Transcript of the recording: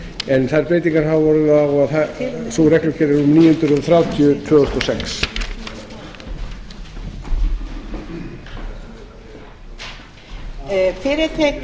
en sú breyting hefur orðið á að sú reglugerð er númer níu hundruð þrjátíu tvö þúsund og sex